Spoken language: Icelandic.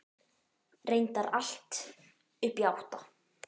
Reyndar allt upp í átta.